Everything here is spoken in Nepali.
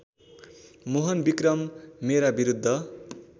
मोहनविक्रम मेरा विरूद्ध